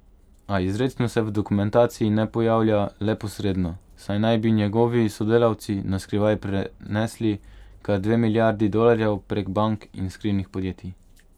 A izrecno se v dokumentaciji ne pojavlja, le posredno, saj naj bi njegovi sodelavci na skrivaj prenesli kar dve milijardi dolarjev prek bank in skrivnih podjetij.